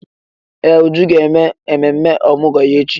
Ee! Uju ga-eme ememme ọmụgwọ ya echi.